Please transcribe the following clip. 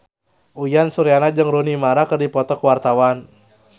Uyan Suryana jeung Rooney Mara keur dipoto ku wartawan